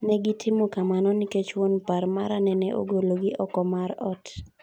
Negitimo kamano nikech wuon par mara neneogolo gi oko mar ot.